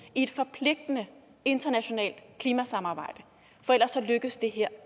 i et forpligtende internationalt klimasamarbejde for ellers lykkes det her